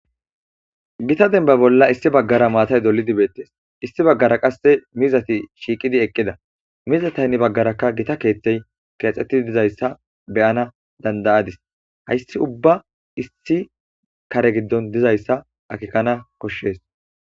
gita denba bolla issi baggara maatay dolidi beettees issi baggara qasse mizati shiiqidi eqqida mizata hnne baggarakka gita keeththey keexxettii dizayssa beyana dandayadis hayssi ubba issi kare giddon dizayssa akikana koshshees